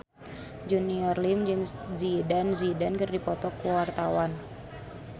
Junior Liem jeung Zidane Zidane keur dipoto ku wartawan